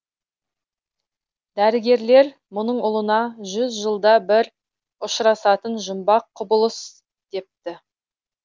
дәрігерлер мұның ұлына жүз жылда бір ұшырасатын жұмбақ құбылыс депті